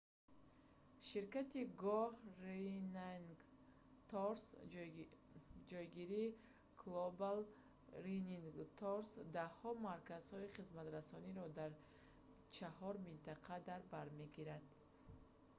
ширкати go running tours ҷогири global running tours даҳҳо марказҳои хизматрасониро дар чаҳор минтақа дар бар мегирад